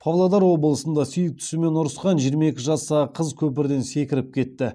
павлодар облысында сүйіктісімен ұрысқан жиырма екі жастағы қыз көпірден секіріп кетті